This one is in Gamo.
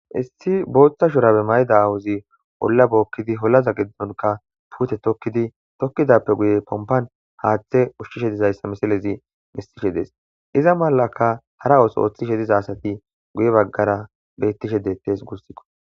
issi booththa shurabe mayida awuzi olla bookkidi holaza geddonka puute tokkidi tokkidappe guye pompan haaththe ushshishe dizayssa misalezi mistishe dees iza malaka hara oos ooththishe diza asati guye baggara bettishe deettees gussikko